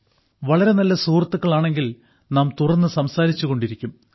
വളരെ നല്ല സുഹൃത്തുക്കളാണെങ്കിൽ നാം തുറന്നു സംസാരിച്ചു കൊണ്ടിരിക്കും